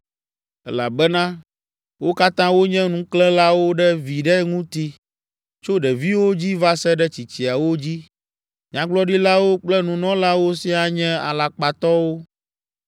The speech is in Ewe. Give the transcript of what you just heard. “Elabena wo katã wonye ŋuklẽlawo ɖe viɖe ŋuti, tso ɖeviwo dzi va se ɖe tsitsiawo dzi, nyagblɔɖilawo kple nunɔlawo siaa nye alakpatɔwo.